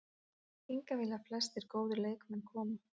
Hingað vilja flestir góðir leikmenn koma.